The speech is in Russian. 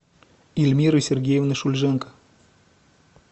ильмиры сергеевны шульженко